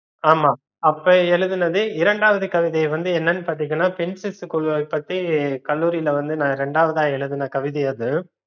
ஆமா அப்போ எழுதுனதே இரண்டாவது கவிதை வந்து என்னனு பாத்தீங்கன்னா பெண் சிசு கொல்வது பற்றி கல்லூரில வந்து நா ரெண்டாவுதா எழுதுன கவிதை அது